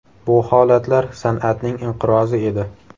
Bu holatlar san’atning inqirozi edi.